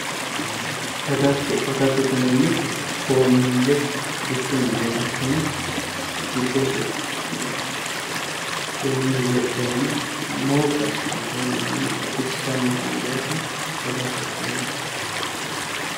Agatto agattote yineemmoti coommille bikku aleenni assine giddose coommillu lexxeenan mooqqi assitaata woyi manna baxissanna angayiita agattote yinayi